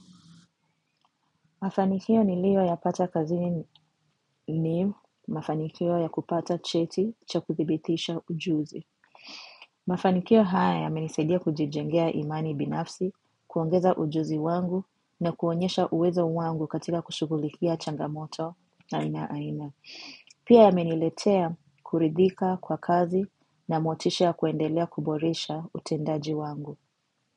Mafanikio niliyo yapata kazini ni, mafanikio ya kupata cheti cha kuthibitisha ujuzi. Mafanikio haya yamenisaidia kujijengea imani binafsi, kuongeza ujuzi wangu na kuonyesha uwezo wangu katika kushugulikia changamoto za aina aina. Pia yameniletea kuridhika kwa kazi na motisha kuendelea kuboresha utendaji wangu.